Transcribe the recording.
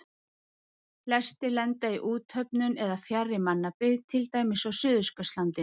Flestir lenda í úthöfunum eða fjarri mannabyggð, til dæmis á Suðurskautslandinu.